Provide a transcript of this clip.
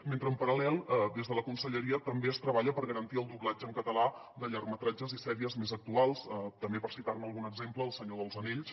mentre en paral·lel des de la conselleria també es treballa per garantir el doblatge en català de llargmetratges i sèries més actuals també per citar ne algun exemple el senyor dels anells